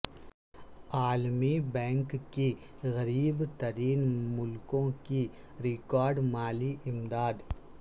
عالمی بینک کی غریب ترین ملکوں کی ریکارڈ مالی امداد